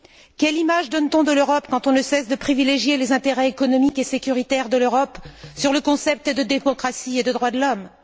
Quelle image donne t on de l'Europe quand on ne cesse de privilégier les intérêts économiques et sécuritaires de l'Europe sur le concept de démocratie et de droits de l'homme?